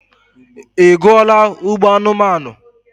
Ị gụọla Ugbo anumanu?